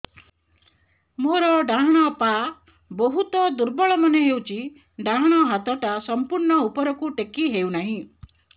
ମୋର ଡାହାଣ ପାଖ ବହୁତ ଦୁର୍ବଳ ମନେ ହେଉଛି ଡାହାଣ ହାତଟା ସମ୍ପୂର୍ଣ ଉପରକୁ ଟେକି ହେଉନାହିଁ